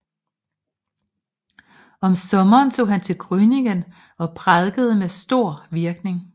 Om sommeren tog han til Grüningen og prædikede med stor virkning